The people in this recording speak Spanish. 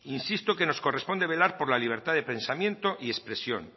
insisto que nos corresponde velar por la libertad de pensamiento y expresión